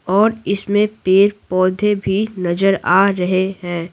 और इसमें पेड़-पौधे भी नजर आ रहे हैं।